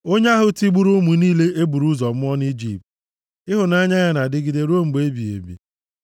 Onye ahụ tigburu ụmụ niile e buru ụzọ mụọ nʼIjipt, Ịhụnanya ya na-adịgide ruo mgbe ebighị ebi.